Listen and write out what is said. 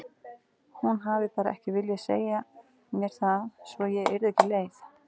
Hún hafði bara ekki viljað segja mér það svo ég yrði ekki leið.